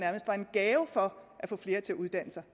gave for at få flere til uddanne sig